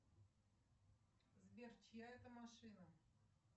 сбер чья это машина